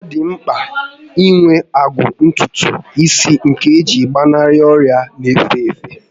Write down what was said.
Ọ dị mpka inwe agụba ntùtù isi nke gị iche iji gbanarị ọrịa n'efe efe